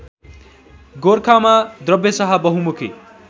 गोरखामा द्रव्यशाह बहुमुखी